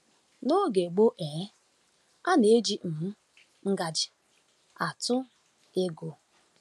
N’oge gboo, um a na-eji um ngaji atụ ego.